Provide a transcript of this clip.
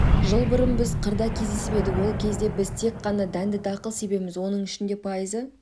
жыл бұрын біз қырда кездесіп едік ол кезде біз тек қана дәнді-дақыл себеміз оның ішінде пайызы